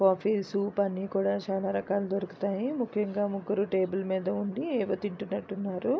Coffee soup అన్నికుడా చాలా రకాలు దొరుకుతాయి ముఖ్యముగా ముగ్గురు టేబుల్ మీద ఉండి ఏదో తిట్టున్నట్టు ఉన్నారు.